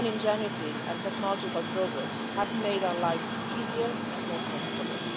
Human ingenuity and technological progress have made our lives easier and more comfortable.